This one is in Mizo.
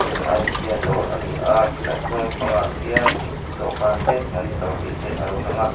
a ni a tin a chhung lampangah khian dawhkan te monitor tih te a lo lang a.